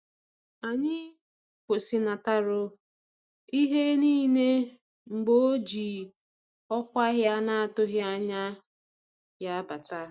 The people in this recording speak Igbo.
Anyị kwụsịnataru ihe niile mgbe o ji ọkwa ya na-atụghị anya ya bata